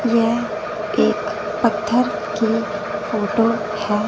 यह एक पत्थर की फोटो है।